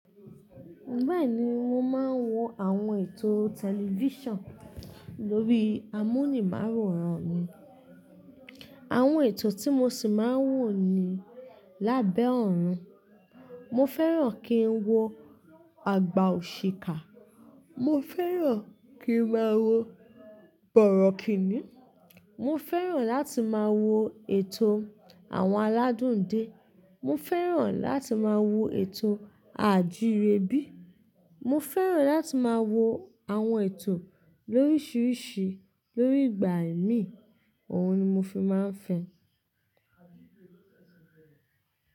Bẹ́ẹ̀ni, mo máa ń wo àwọn ètò tẹlifíṣàn lórí amúnimááworan mi. Àwọn ètò tí mo ṣì máa ń wò ni lábẹ́ ọ̀run. Mo fẹ́ràn kí ń wo àgbà oṣikà, mo fẹ́ràn kí máa wo Bọ̀rọ̀kìnì, mo fẹ́ràn láti máa wo ètò àwọn aládùn dé, mo fẹ́ràn láti máa wo ètò a àjìrẹ bí, mo fẹ́ràn láti máa wo àwọn ètò lóríṣiríṣi lórí igbà ẹ̀mi, òhun ni mo fi máa ń fẹ́.